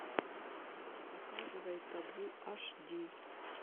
показывай табу аш ди